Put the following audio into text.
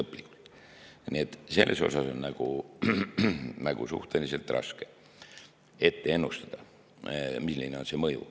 Nii et selles osas on suhteliselt raske ennustada, milline on see mõju.